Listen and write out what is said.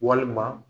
Walima